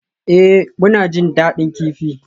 Ee, muna jin daɗin kifi.